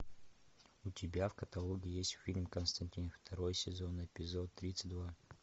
у тебя в каталоге есть фильм константин второй сезон эпизод тридцать два